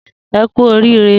E ku orire